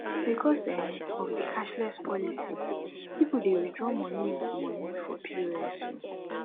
because um of di cashless policy pipo de withdraw money with money for pos um